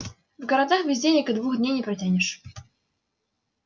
в городах без денег и двух дней не протянешь